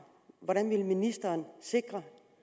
hvordan vil ministeren sikre at